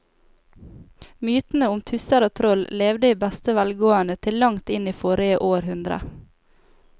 Mytene om tusser og troll levde i beste velgående til langt inn i forrige århundre.